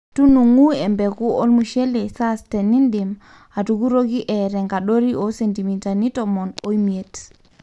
tunungu embeku olmushele sas tenidim atukuroki etaa enkadori oo sentimitani tomon o imiet